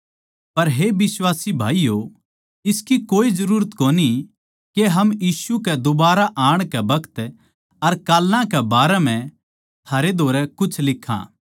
पर हे बिश्वासी भाईयो इसकी कोए जरूरत कोनी के हम यीशु के दोबारा आण के बखत अर काल्लां कै बारै म्ह थारै धोरै कुछ लिखां